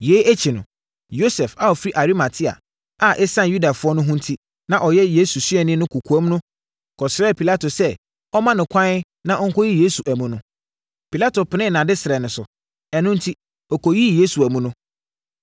Yei akyi no, Yosef a ɔfiri Arimatea a ɛsiane Yudafoɔ ho hu enti, na ɔyɛ Yesu suani wɔ kɔkoam no kɔsrɛɛ Pilato sɛ ɔmma no ɛkwan na ɔnkɔyi Yesu amu no. Pilato penee nʼadesrɛ no so. Ɛno enti, ɔkɔyii Yesu amu no.